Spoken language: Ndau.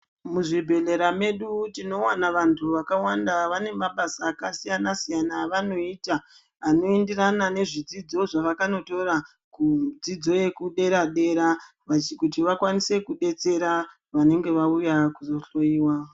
Muzvibhehlera mwedu tinowana vantu vakawanda vanemabasa akasiyana siyana avanoita anoenderana nezvidzidzo zvavakandotora kudzidzo yekudera dera kuti vakwanise kubetsera vanenge vauya kuzohloiwa.